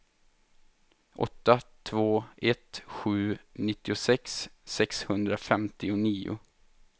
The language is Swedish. åtta två ett sju nittiosex sexhundrafemtionio